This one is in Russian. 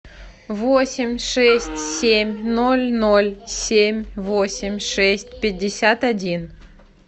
восемь шесть семь ноль ноль семь восемь шесть пятьдесят один